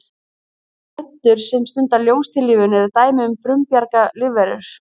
plöntur sem stunda ljóstillífun eru dæmi um frumbjarga lífverur